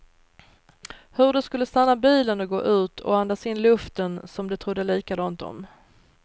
Hur de skulle stanna bilen och gå ut och andas in luften som de trodde likadant om.